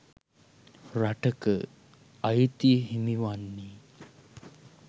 රටක අය්තිය හිමි වන්නේ